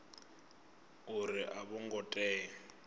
uri a vho ngo tea